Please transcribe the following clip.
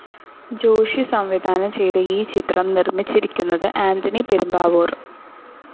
ജോഷി സംവിധാനം ചെയ്ത ഈ ചിത്രം നിർമ്മിച്ചിരിക്കുന്നത് ആന്റണി പെരുമ്പാവൂർ.